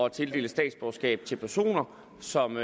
at tildele statsborgerskab til personer som